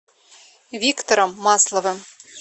виктором масловым